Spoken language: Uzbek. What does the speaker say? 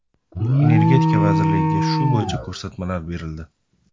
Energetika vazirligiga shu bo‘yicha ko‘rsatmalar berildi.